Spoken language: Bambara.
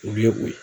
U ye o ye